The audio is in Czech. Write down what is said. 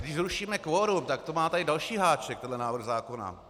Když zrušíme kvorum, tak to má tady další háček, tento návrh zákona.